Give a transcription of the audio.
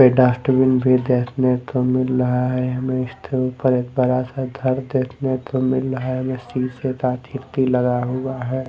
पे डस्टबिन भी देखने को मिल रहा है हमें इसके ऊपर एक बड़ा सा धर देखने को मिल रहा है जो सीसे ता खिड़की लगा हुआ है।